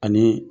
Ani